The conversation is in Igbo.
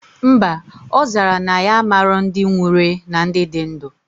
Mba, ozara na ya amalo ndi nwurue na ndi di ndu